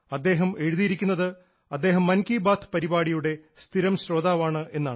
അദ്ദേഹം എഴുതിയിരിക്കുന്നത് അദ്ദേഹം മൻ കി ബാത്ത് പരിപാടിയുടെ സ്ഥിരം ശ്രോതാവാണ് എന്നാണ്